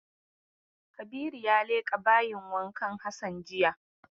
Kabiru ya leƙa bayin wankan Hassan jiya.